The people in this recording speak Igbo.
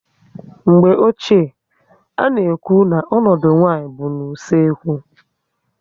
Mgbe ochie, a na ekwu na ọnọdụ nwaanyị bụ na usekwu